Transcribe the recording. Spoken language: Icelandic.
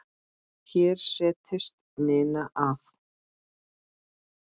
Hér settist Ninna að.